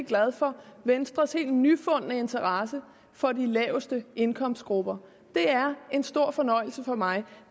glad for venstres helt nyfundne interesse for de laveste indkomstgrupper det er en stor fornøjelse for mig